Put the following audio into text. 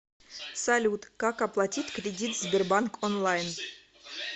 салют как оплатить кредит в сбербанк онлайн